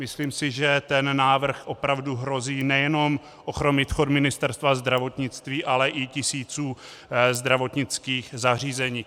Myslím si, že ten návrh opravdu hrozí nejenom ochromením chodu Ministerstva zdravotnictví, ale i tisíců zdravotnických zařízení.